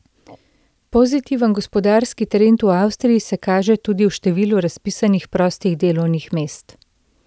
Pozitiven gospodarski trend v Avstriji se kaže tudi v številu razpisanih prostih delovnih mest.